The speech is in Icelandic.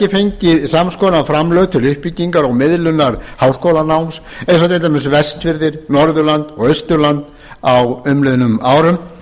fengið sams konar framlög til uppbyggingar og miðlunar háskólanáms og vestfirðir norðurland og austurland á umliðnum árum